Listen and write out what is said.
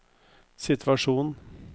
situasjon